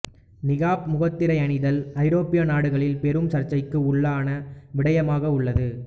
நிகாப் முகத்திரை அணிதல் ஐரோப்பிய நாடுகளில் பெரும் சர்ச்சைக்கு உள்ளான விடயமாக உள்ளது